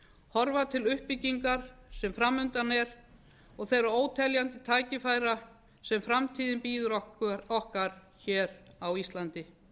horfa til uppbyggingar sem fram undan er og þeirra óteljandi tækifæra sem framtíðin býður okkur á íslandi þó